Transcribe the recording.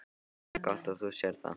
Það er gott að þú sérð það.